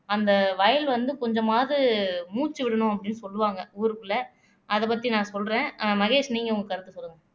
அந்த வயல் வந்து கொஞ்சமாவது மூச்சு விடணும் அப்படின்னு சொல்லுவாங்க ஊருக்குள்ள அதைப் பத்தி நான் சொல்றேன் மகேஷ் நீங்க உங்க கருத்தை சொல்லுங்க